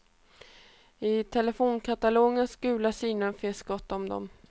I telefonkatalogens gula sidor finns gott om dem.